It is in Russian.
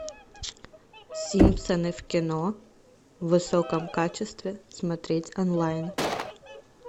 симпсоны в кино в высоком качестве смотреть онлайн